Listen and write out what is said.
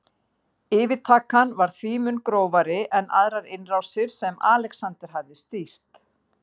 Yfirtakan var því mun grófari en aðrar innrásir sem Alexander hafði stýrt.